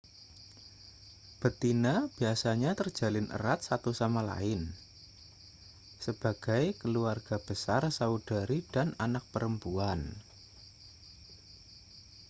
betina biasanya terjalin erat satu sama lain sebagai keluarga besar saudari dan anak perempuan